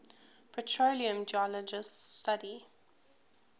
petroleum geologists study